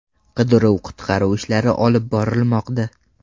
Qidiruv-qutqaruv ishlari olib borilmoqda.